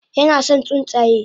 Yinason tsuntsaye